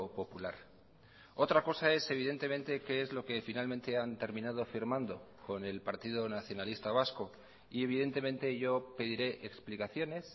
popular otra cosa es evidentemente qué es lo que finalmente han terminado firmando con el partido nacionalista vasco y evidentemente yo pediré explicaciones